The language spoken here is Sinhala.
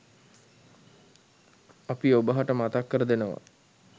අපි ඔබහට මතක් කර දෙනවා.